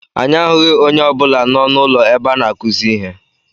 Anyị ahụghị onye ọ bụla n'ọnụ ụlọ ebe a na-akuzi ihe.